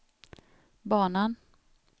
banan